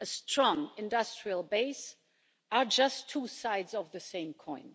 a strong industrial base are just two sides of the same coin.